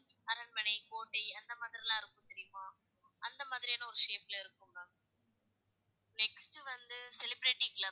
அரண்மனை கோட்டை அந்த மாதிரிலா இருக்கும் தெரியுமா? அந்த மாதிரியான ஒரு shape ல இருக்கும் ma'am next வந்து celebrity club,